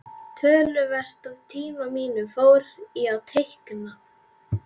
Töluvert af tíma mínum fór í að teikna.